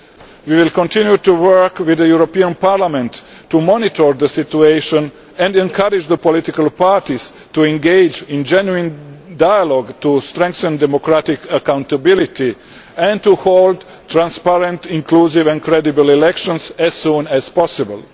We will continue to work with the European Parliament to monitor the situation and encourage the political parties to engage in genuine dialogue to strengthen democratic accountability and to hold transparent, inclusive and credible elections as soon as possible.